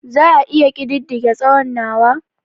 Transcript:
Za a iya ƙididdige tsawonsa/ tsawon nawa?